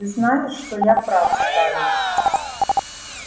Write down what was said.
ты знаешь что я прав скарлетт